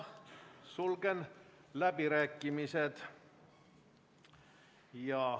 Sulgen läbirääkimised.